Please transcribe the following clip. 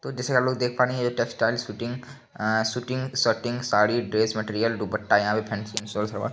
तो जैसे की लोग देख पा रहें हैं यह textile fitting uh suiting shirting sari dress material dupatta. यहाँ पे फैंसी सूट सलवार --